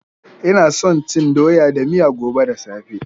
Ina son cin doya da miya gobe da safe.